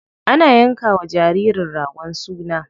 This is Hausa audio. Ana yanka wa jaririn ragon suna.